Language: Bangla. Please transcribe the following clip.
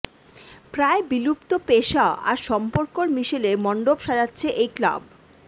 প্রায় বিলুপ্ত পেশা আর সম্পর্কর মিশেলে মন্ডপ সাজাচ্ছে এই ক্লাব